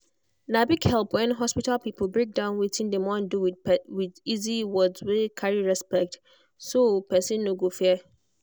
na big help when hospital people break down wetin dem wan do with easy word wey carry respect so person no go fear.